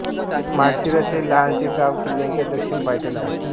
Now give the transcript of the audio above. माळशिरस हे लहानसे गाव किल्ल्याच्या दक्षिण पायथ्याला आहे